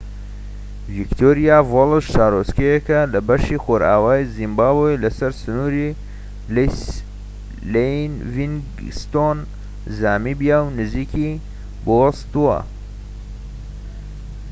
ڤیکتۆریا فۆڵس شارۆچکەیەکە لە بەشی خۆرئاوای زیمبابوی لە سەر سنوور لە لیڤینگستۆن زامبیا و نزیکی بۆتسوانا